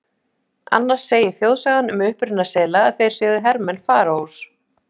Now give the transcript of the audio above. Annars segir þjóðsagan um uppruna sela að þeir séu hermenn Faraós.